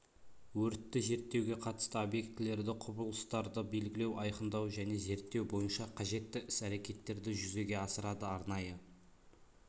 өртті зерттеуге қатысты объектілерді құбылыстарды белгілеу айқындау және зерттеу бойынша қажетті іс-әрекеттерді жүзеге асырады арнайы